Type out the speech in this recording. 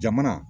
Jamana